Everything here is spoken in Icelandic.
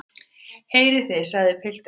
Heyrið þið, sagði pilturinn.